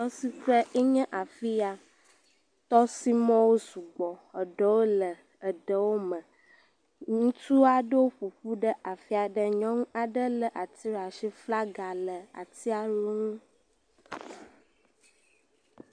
Tɔsiƒee nye afi ya. Tɔsimɔ̃wo sugbɔ. Eɖewo le eɖɔwome. Ŋutsu aɖewo ƒo ƒu afi aɖe nyɔnu aɖe lé ati ɖe ashi, flaga le atia wo ŋu.